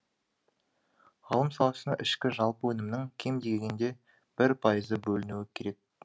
ғылым саласына ішкі жалпы өнімнің кем дегенде бір пайызы бөлінуі керек